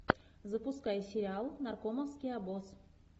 запускай сериал наркомовский обоз